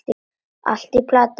Allt í plati!